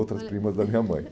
Outras primas da minha mãe.